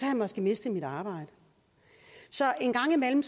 jeg måske mistet mit arbejde så en gang imellem